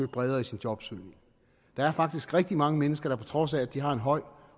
bredere i sin jobsøgning der er faktisk rigtig mange mennesker der på trods af at de har en høj